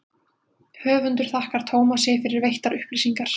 Höfundur þakkar Tómasi fyrir veittar upplýsingar.